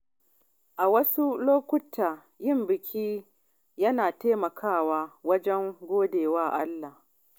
A wasu lokuta, yin biki yana taimakawa wajen gode wa Allah.